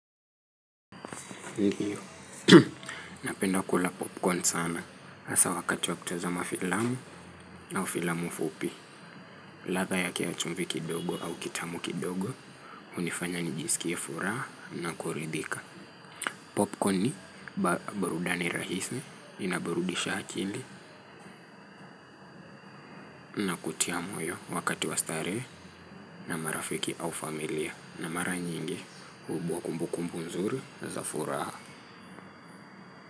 Ndiyo, napenda kula popcorn sana, hasa wakati wakutazama filamu au filamu fupi. Latha yake ya chumvi kidogo au kitamu kidogo, unifanya nijisikie furaha na kuridhika. Popcorn ni barudani rahisi, inaburudisha hakili na kutia moyo wakati wastare. Na marafiki au familia, na mara nyingi huibuwa kumbu kumbu nzuri na za furaha.